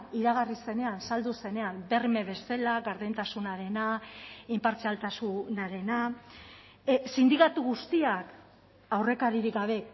iragarri zenean saldu zenean berme bezala gardentasunarena inpartzialtasunarena sindikatu guztiak aurrekaririk gabe